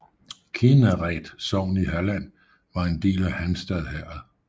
Kinnared sogn i Halland var en del af Halmstad herred